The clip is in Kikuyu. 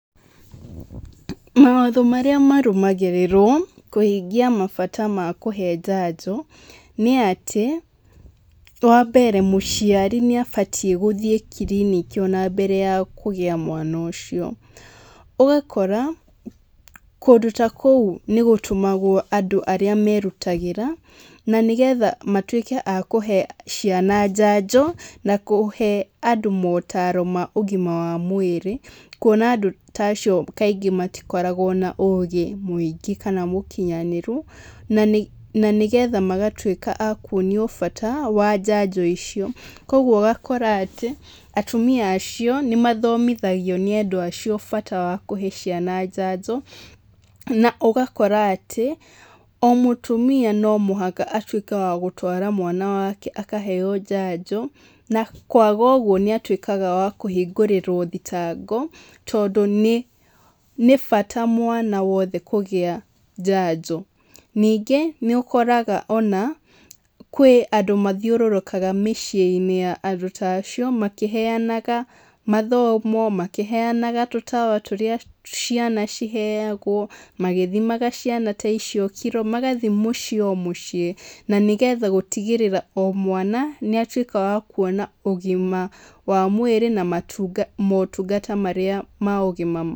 Mawatho marĩa marũmagĩrĩrũo kũhingia mabata ma kũhe njanjo nĩ atĩ, wa mbere mũciari nĩ abatie gũthiĩ kiriniki ona mbere ya kũgĩa mwana ũcio. Ũgakora kũndũ ta kũu nĩ gũtũmagwo andũ arĩa merutagĩra na nĩ getha matuĩke a kũhe ciana njanjo, na kũhe andũ motaro ma ũgima wa mwĩrĩ, kuona andũ ta avcio kaingĩ matikoragwo na ũgĩ mũingĩ kana mũkinyanĩru, na nĩ getha magatuĩka a kuonio bata wa njanjo icio. Kuũguo ũgakora atĩ, atumia acio nĩ mathomithagio nĩ andũ acio, bata wa kuhe ciana njanjo, na ũgakora atĩ o mũtumia no muhaka atuĩke wa gũtwara mwana wake akaheo njanjo. Na kwaga ũguo nĩatuĩkaga wa kũhingũrĩrwo thitango tondũ nĩ bata mwana wothe kũgĩa njanjo. NIngĩ nĩũkoraga ona kwĩ andũ mathiurũrũkaga mĩciĩ-inĩ ya andũ ta acio makĩheanaga mathomo, makĩheanaga tũtawa tũrĩa ciana ciheagwo, magĩthimaga ciana ta icio kiro, magathiĩ mũciĩ o mũciĩ na nĩ getha gũtigĩrĩra o mwana nĩ atuĩka wa kuona ũgima wa mwĩrĩ na motungata marĩa ma ũgima.